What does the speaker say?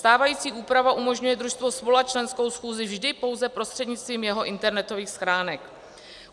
Stávající úprava umožňuje družstvo svolat členskou schůzí vždy pouze prostřednictvím jeho internetových stránek.